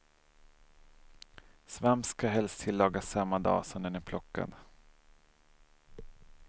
Svamp ska helst tillagas samma dag som den är plockad.